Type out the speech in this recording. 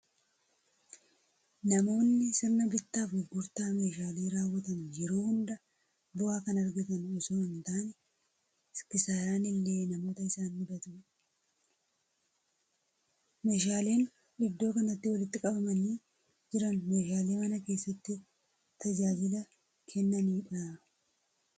Namoonni sirna bittaa fi gurgurtaa meeshaalee raawwatan yeroo hundaa bu'aa kan argatan osoo hin taane, kisaaraan illee namoota isaan mudatudha. Meeshaaleen iddoo kanatti walitti qabamanii jiran, meeshaalee mana keessaatti tajaajila kennanidha.